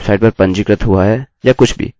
इसको इस्तेमाल करने की सम्भावना अनंत है